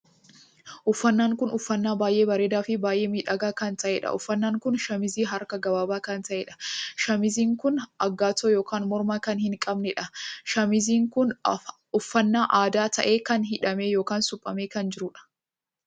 Uffannaan kun uffannaa baay'ee bareedaa Fi baay'ee miidhagaa kan taheedha. uffannan kun shamuuzii harka gabaabaa kan taheedha. shamuuziin kun agatoo ykn morma kan hin qabneedha. shamuuziin kun uffannaa aadaa taheen kan hidhamee ykn shuphamee kan jiruudha